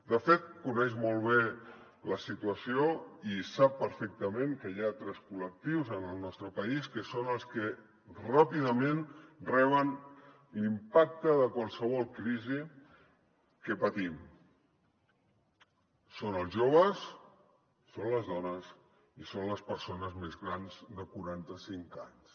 de fet coneix molt bé la situació i sap perfectament que hi ha altres col·lectius en el nostre país que són els que ràpidament reben l’impacte de qualsevol crisi que patim són els joves són les dones i són les persones més grans de quaranta cinc anys